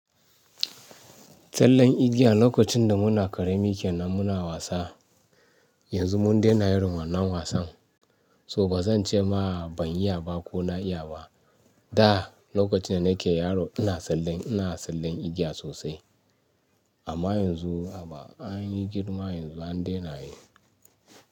Tsallen igiya lokacin da muna karemi kenan muna wasa, yanzu mun daina irin wannan wasan. To ba zan ce ma ban iya ba ko na iya ba. Da lokacin da nake yaro, ina tsallen, ina tsallen igiya sosai. Amma yanzu a ba an yi girma yanzu an dena yi.